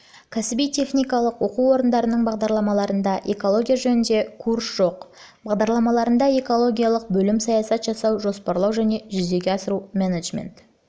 кәсіби-техникалық оқу орындарының бағдарламаларында экология жөніндегі курс жоқ бағдарламаларында да экологиялық бөлім саясат жасау жоспарлау және жүзеге асыру менеджмент